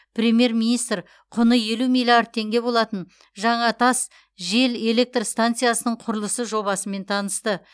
премьер министр құны елу миллиард теңге болатын жаңатас жел электр станциясының құрылысы жобасымен танысты